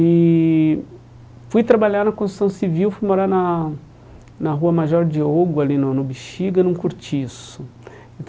E fui trabalhar na construção civil, fui morar na na Rua Major Diogo, ali no no Bixiga, num cortiço.